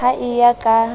ha e ya ka ya